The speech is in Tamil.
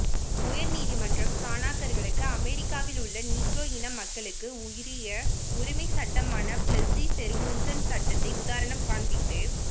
உயர்நீதிமன்றம் சாணார்களுக்கு அமெரிக்காவில் உள்ள நீக்ரோ இன மக்களுக்கு உரிய உரிமை சட்டமான பிளஸ்சி பெர்கூசன் சட்டத்தை உதாரணம் கான்பித்து